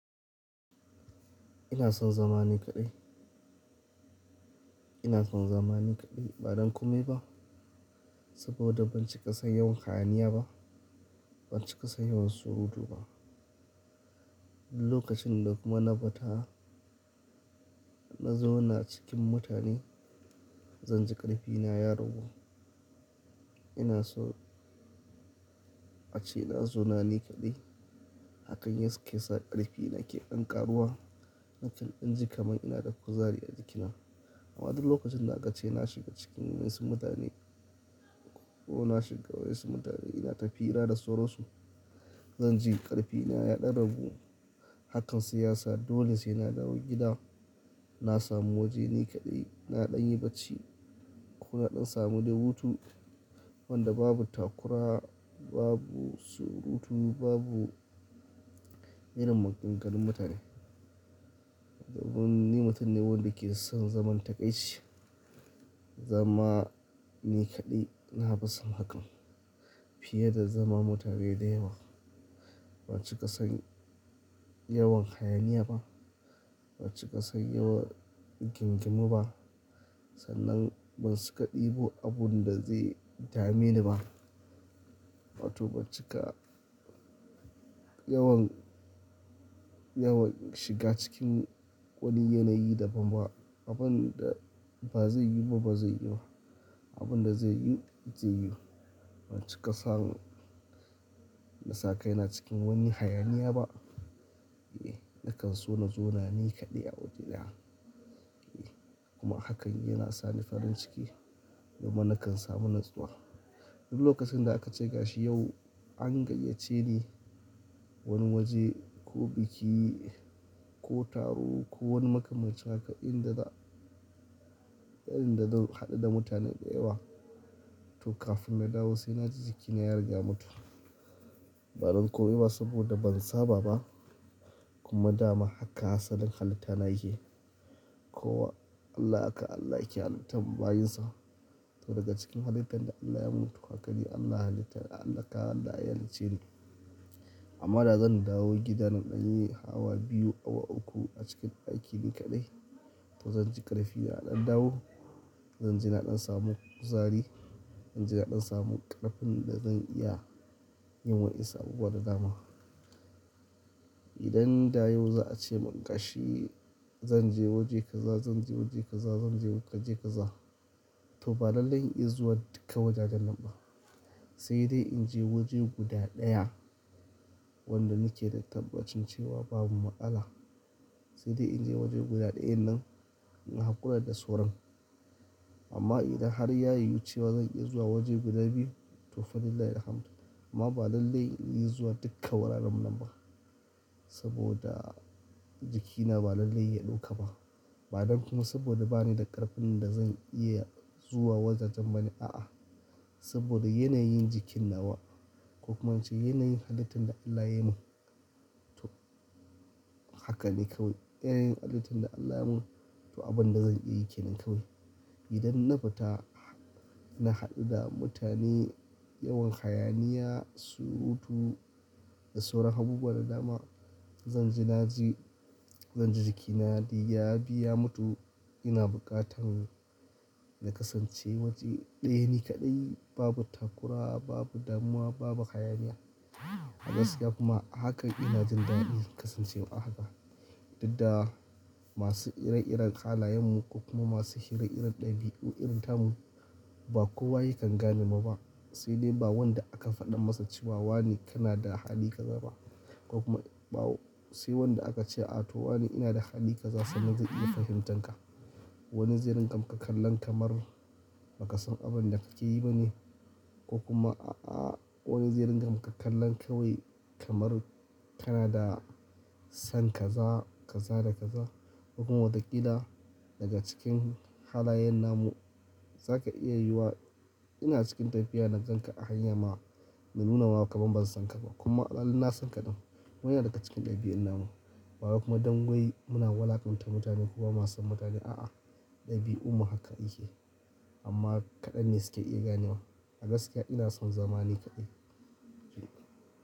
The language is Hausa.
Ina son zama ni kaɗai. Ina son zama ni kaɗai ba don komai ba, saboda ban ci ƙasan yawan hayaniya ba, ban ci kasan yawan surutu ba. Duk lokacin da kuma na fita na zauna cikin mutane, zan ji ƙarfi na ya ragu. Ina so a ce na zauna ni kaɗai, hakan yake sa ƙarfi na ke ɗan ƙaruwa. Nakan in ji kamar ina da kuzari a jikina. Amma duk lokacin da aka ce na shiga cikin wasu mutane ko na shiga wasu mutane, ina tafira da sauran su, zan ji ƙarfi na ya ɗan ragu. Hakan shiyasa, dole sai na dawo gida. Na samu waje ni kaɗai, na ɗan yi bacci ko na ɗan samu dai hutu wanda babu takura, babu surutu, babu irin maganganun mutane. Sabo da ni mutum ne wanda ke son zaman kaɗaici. Zama ni kaɗai na fi son hakan fiye da zama da mutane da yawan. Ban ci ƙasan yawan hayaniya ba, ban ci kasan yawan rigingimu ba. Sannan ban cika ɗebo abunda zai dame ni ba. To ban cika yawan, yawan shiga cikin wani yanayi da ban ba. Abunda ba zai yiwu ba, ba zai yiwu ba. Abunda zai yiwu, zai yiwu. Ban ci ƙasan na sakaina cikin wani hayaniya ba. E, nakan so na zaune ni kaɗai a waje ɗaya. E kuma hakan yana sa ni farin ciki kuma nakan samu natsuwa. Duk lokacin da aka ce gashi yau an gayyace ni wani waje ko biki ko taro ko wani maka-manci haka inda da, inda da hadu da mutane da yawa, to kafin na dawo sai na ji jikina ya riga ya mutu. Ba don komai ba saboda ban saba ba kuma dama haka asalin halitta na yake. Kowa Allah haka Allah yake halittan bayinsa. To daga cikin halittan da Allah yamun tukaki Allah halitta ya alaƙa da ayan ce ne. Amma dazan dawo gida na ɗanyi awa biyu, awa uku a cikin daki ni kaɗai, to zanji ƙarfi yaɗan dawo. Zanji na ɗan samu kuzari, zanji na ɗan samu ƙarfin da zan iya yin wainsu abubuwa da dama. Idan da yau za'a ce mun tashi zanje waje kaza, zanje waje kaza, zanje waje kaza, to ba lallai in iya zuwa duka wajajennan ba. Sai dai inje waje guda ɗaya wanda nake da tabbacin cewa babu matsala. Sai dai inje waje guda ɗaya nan na hakura da sauran. Amma idan har ya yiwu cewa zan iya zuwa waje guda biyu, to Falillahilhamd. Amma ba lallai in iya zuwa duka wuraren nan ba saboda jikina ba lallai ya ɗauka ba. Ba don kuma saboda banida ƙarfin da zan iya zuwa wajajen bane, a'a. Saboda yanayin jikinnawa, ko kuma ince yanayin halittan da Allah ya mun, to hakane kawai. Yanayin halittan da Allah ya mun to abunda zan iyayi kenan kawai. Idan na fita na haɗu da mutane, yawan hayaniya, surutu da sauran abubuwa da dama, zanji naji, Zanji jikina ya biya mutu. Ina buƙatan na kasance waje ɗaya ni kaɗai babu takura, babu damuwa, babu hayaniya. A gaskiya kuma hakan ina jin daɗin kasancewa haka. Dudda masu ire-iren halayen mu ko kuma masu ire-iren ɗabi'u irin tamu ba kowa yakan gane muba. Sai dai ba wanda akan faɗan masa cewa wane kanada hali kaza ba, ko kuma ba sai wanda aka ce, "A to wane inada hali kaza sannan zai iya fahimtar ka." Wani zirin amfi kallan kamar baka san abunda kakeyi bane ko kuma a'a wani ze rinka maka kallan kawai kamar kanada san kaza, kaza da kaza. Kuma wataƙila daga cikin halayenna mu zaka iya yuwawa ina cikin tafiya na ganka a hanya ma, na nunama kaman ban sanka ba kuma a sanka ɗin. Kuma yana daga cikin ɗabi'un namu. Bawai kuma don wai muna walakanta mutane ko bamason mutane, a'a. Ɗabi'ummu haka yake. Amma kaɗanne suke iya ganewa. A gaskiya ina son zama ni kaɗai. E.